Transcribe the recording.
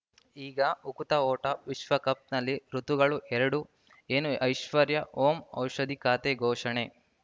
ಈಗ ಉಕುತ ಓಟ ವಿಶ್ವಕಪ್‌ನಲ್ಲಿ ಋತುಗಳು ಎರಡು ಏನು ಐಶ್ವರ್ಯಾ ಓಂ ಔಷಧಿ ಖಾತೆ ಘೋಷಣೆ